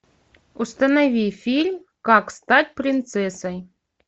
установи фильм как стать принцессой